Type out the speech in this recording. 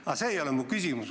Aga see ei ole mu küsimus.